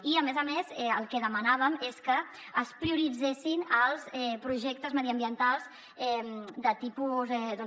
i a més a més el que demanàvem és que es prioritzessin els projectes mediambientals de tipus doncs